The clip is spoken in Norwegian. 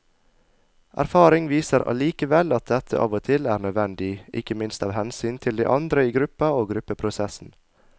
Erfaring viser allikevel at dette av og til er nødvendig, ikke minst av hensyn til de andre i gruppa og gruppeprosessen.